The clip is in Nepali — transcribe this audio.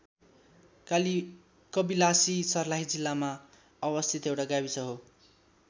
कबिलासी सर्लाही जिल्लामा अवस्थित एउटा गाविस हो।